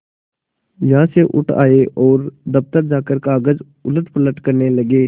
यहाँ से उठ आये और दफ्तर जाकर कागज उलटपलट करने लगे